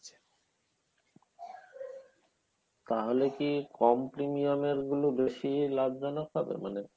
তাহলে কি কম premium এর গুলো বেশি লাভজনক হবে মানে